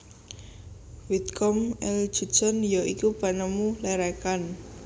Whitcomb L Judson ya iku penemu lerekan